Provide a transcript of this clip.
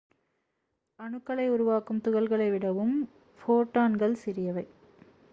அணுக்களை உருவாக்கும் துகள்களை விடவும் ஃபோட்டான்கள் சிறியவை